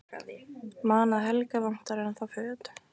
Man að Helga vantar ennþá föt.